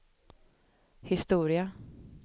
historia